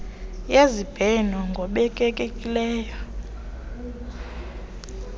yezibheno ngobekekileyo uct